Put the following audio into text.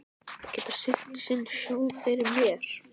Þeir geta siglt sinn sjó fyrir mér.